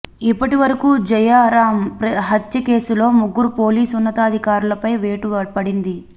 ఇప్పటి వరకు జయరాం హత్య కేసులో ముగ్గురు పోలీస్ ఉన్నతాధికారులపై వేటు పడింది